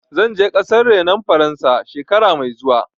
Zan je ƙasar renon Faransa, shekara mai zuwa.